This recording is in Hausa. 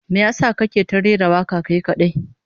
Me yasa kake ta rera waka kai kadai?